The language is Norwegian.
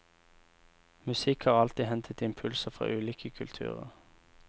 Musikk har alltid hentet impulser fra ulike kulturer.